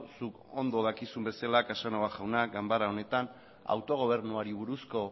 zuk ondo dakizun bezala casanova jauna ganbara honetan autogobernuari buruzko